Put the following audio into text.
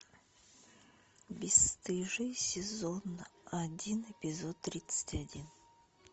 бесстыжие сезон один эпизод тридцать один